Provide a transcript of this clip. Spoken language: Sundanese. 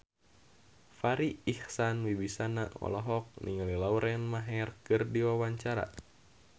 Farri Icksan Wibisana olohok ningali Lauren Maher keur diwawancara